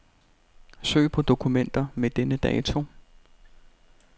Søg på dokumenter med denne dato.